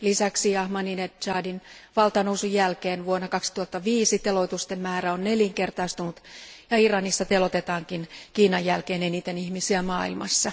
Lisäksi Ahmadinejadin valtaan nousun jälkeen vuonna 2005 teloitusten määrä on nelinkertaistunut ja Iranissa teloitetaankin Kiinan jälkeen eniten ihmisiä maailmassa.